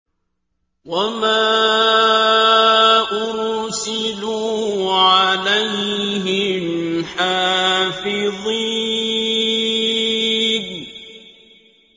وَمَا أُرْسِلُوا عَلَيْهِمْ حَافِظِينَ